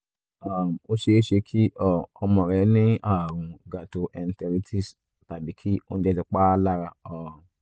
um ó ṣeé ṣe kí um ọmọ rẹ ní ààrùn gastroenteritis tàbí kí oúnjẹ ti pa á lára um